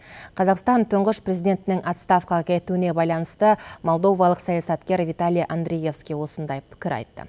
қазақстан тұңғыш президентінің отставкаға кетуіне байланысты молдовалық саясаткер виталий андриевский осындай пікір айтты